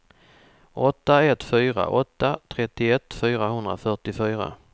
åtta ett fyra åtta trettioett fyrahundrafyrtiofyra